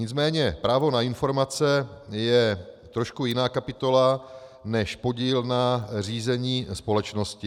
Nicméně právo na informace je trošku jiná kapitola než podíl na řízení společnosti.